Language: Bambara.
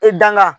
I danga